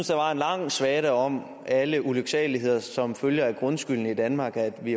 der var en lang svada om alle ulyksaligheder som følge af grundskylden i danmark og at vi